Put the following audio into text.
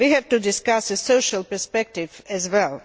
We have to discuss the social perspective as well.